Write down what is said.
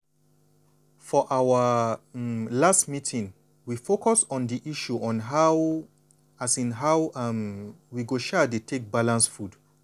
for our um last health meeting we focus on di issue on how um how um we um go dey take balance food.